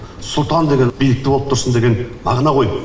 сұлтан деген биікте болып тұрсын деген мағына ғой